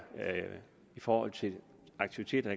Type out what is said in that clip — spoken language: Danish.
i forhold til aktiviteter